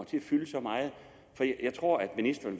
til at fylde så meget jeg tror at ministeren